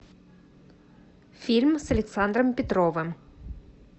фильм с александром петровым